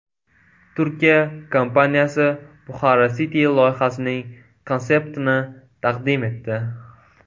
Turkiya kompaniyasi Bukhara City loyihasining konseptini taqdim etdi .